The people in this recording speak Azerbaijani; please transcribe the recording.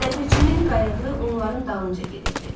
Ləpirçinin qayığı onların dalınca gedirdi.